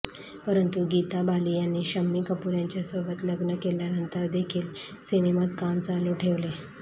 परंतु गीता बाली यांनी शम्मी कपूर यांच्यासोबत लग्न केल्यानंतरदेखील सिनेमांत काम चालू ठेवले